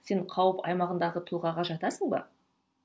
сен қауіп аймағындағы тұлғаға жатасың ба